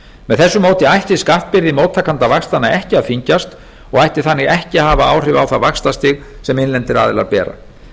með þessu móti ætti skattbyrði móttakanda vaxtanna ekki að þyngjast og ætti þannig ekki að hafa áhrif á það vaxtastig sem innlendir aðilar bera